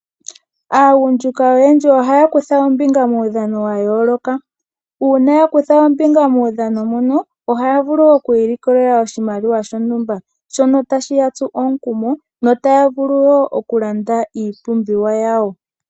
Aagundjuka oyendji ohaya kutha ombinga muudhano wa yooloka, una ya kutha ombinga muudhano mono ohaya vulu okwii likolela oshimaliwa shontumba. Ohashi yatsu omukumo, notaya vulu okulanda iipumbiwa yawo.